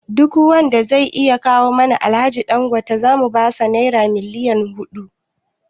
Duk wanda zai iya kawo mana Alhaji Dangote gobe zamu basa Naira miliyon hudu